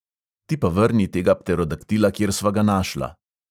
"Ti pa vrni tega pterodaktila, kjer sva ga našla."